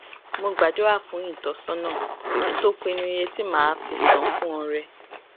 mo gbàdúrà fún ìtósónà kí n tó pinnu iye tí màá fi san fún ọrẹ